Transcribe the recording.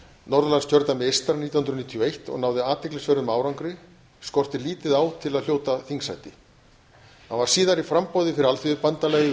norðurlandskjördæmi eystra nítján hundruð níutíu og eitt og náði athyglisverðum árangri skorti lítið á til að hljóta þingsæti hann var síðar í framboði fyrir alþýðubandalagið og